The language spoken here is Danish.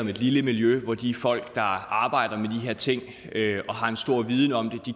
om et lille miljø hvor de folk der arbejder med de her ting og har en stor viden om dem